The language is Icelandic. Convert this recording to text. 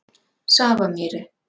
Safamýri